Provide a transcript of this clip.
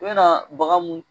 U bɛ na bagan mun.